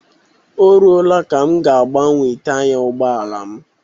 Ọ ruola ka m ga agbanwe taya ụgbọala m